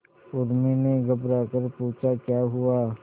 उर्मी ने घबराकर पूछा क्या हुआ